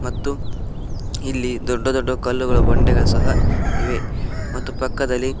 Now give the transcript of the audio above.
ಮತ್ತು ಇಲ್ಲಿ ದೊಡ್ಡ ದೊಡ್ಡ ಕಲ್ಲುಗಳು ಬಂಡೆಗಳು ಸಹ ಇವೆ ಮತ್ತು ಪಕ್ಕದಲ್ಲಿ--